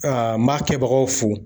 n b'a kɛbagaw fo